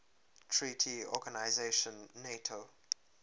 treaty organization nato